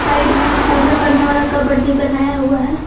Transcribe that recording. Side में पूजा करने वाला कपबोर्ड भी बनाया हुआ है।